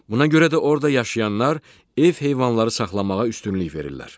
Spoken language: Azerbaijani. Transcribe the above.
Buna görə də orda yaşayanlar ev heyvanları saxlamağa üstünlük verirlər.